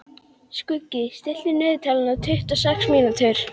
Skuggi, stilltu niðurteljara á tuttugu og sex mínútur.